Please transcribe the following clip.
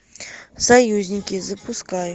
союзники запускай